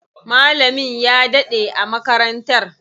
Malamin ya daɗe a makarantar.